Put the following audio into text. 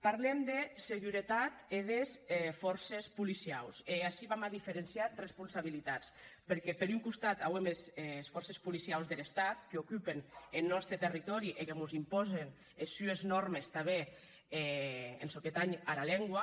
parlem de seguretat e des fòrces policiaus e ací vam a diferenciar responsabilitats perque per un costat auem es fòrces policiaus der estat qu’ocupen eth nòste territòri e que mos impòsen es sues nòrmes tanben en çò que tanh ara lengua